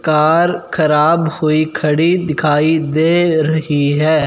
Car खराब हुई खड़ी दिखाई दे रही है।